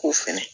K'o fɛnɛ